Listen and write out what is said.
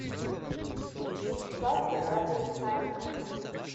вячеслав фергатович сальников